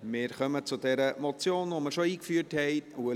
Wir kommen zur Motion, die ich bereits eingeführt habe.